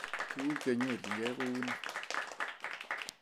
Tukuk chenyorjinigei kou nee?